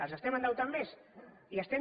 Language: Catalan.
els estem endeutant més i diem